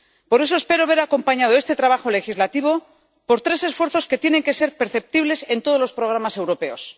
Por eso espero ver acompañado este trabajo legislativo por tres esfuerzos que tienen que ser perceptibles en todos los programas europeos.